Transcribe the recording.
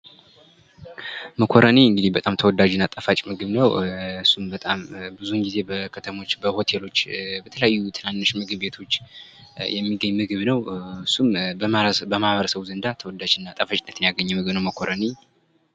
መኮረኒ በጣም ጣፋጭ እና ተወዳጅ ምግብ ነው እሱም በጣም ብዙውን ጊዜ በከተሞች በሆቴሎች በተለያዩ ትናንሽ ምግብ ቤቶች የሚገኝ ምግብ ነው እሱም በማህበረሰቡ ዘንድ ተወዳጅ እና ጣፋጭነትን ያገኘ ምግብ ነው መኮረኒ::